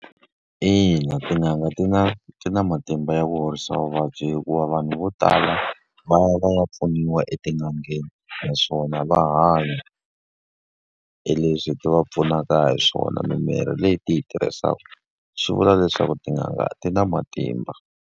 Ina tin'anga ti na ti na matimba ya ku horisa vuvabyi hikuva vanhu vo tala va ya va ya pfuniwa etin'angeni. Naswona va hanya hi leswi hi ti va pfunaka hi swona, mimirhi leyi ti hi tirhisaka. Swi vula leswaku tin'anga ti na matimba.